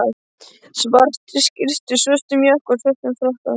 svartri skyrtu, svörtum jakka og svörtum frakka.